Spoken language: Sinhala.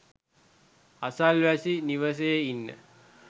අසල්වැසි නිවසේ ඉන්න